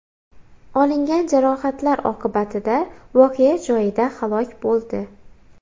olingan jarohatlar oqibatida voqea joyida halok bo‘ldi.